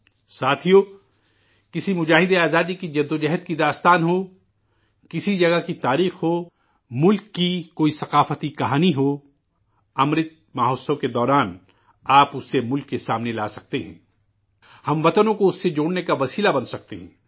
ساتھیو، کسی مجاہدین آزادی کی جد و جہد کی داستان ہو، کسی جگہ کی تاریخ ہو، ملک کی کوئی ثقافتی کہانی ہو، 'امرت مہوتسو' کے دوران آپ اسے ملک کے سامنے لا سکتے ہیں، ہم وطنوں کو اس سے جوڑ نے کا وسیلہ بن سکتے ہیں